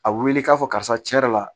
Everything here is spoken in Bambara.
A wuli k'a fɔ karisa tiɲɛ yɛrɛ la